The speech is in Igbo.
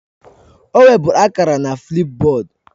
O weburu akara na Flipboard